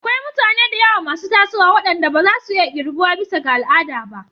Akwai mutane da yawa masu tasowa waɗanda ba za su iya ƙirgawa bisa ga al'ada ba.